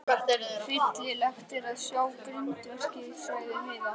Hryllilegt er að sjá grindverkið, sagði Heiða.